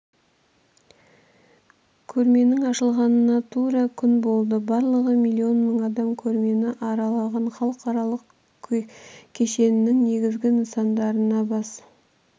көрменің ашылғанына тура күн болды барлығы миллион мың адам көрмені аралаған халықаралық кешеннің негізгі нысандарына бас